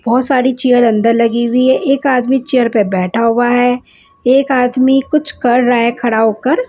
बहोत सारी चेयर अंदर लगी हुई है एक आदमी चेयर पर बेठा हुआ है एक आदमी कुच्छ कर रहा है खड़ा होकर।